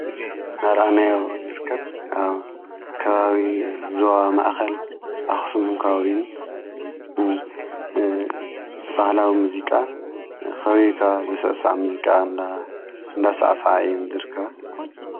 እዚ እናራእናዮ እንርከብ ኣብ ካባቢ ዞባ ማእኸል ኣኽሱምን ከባቢኡን ባህላዊ ሙዚቃ ኸቢካ ዘሠሳዕ ሙዚቃ እ እንዳሣኣሣዓ እየ ይርክብ።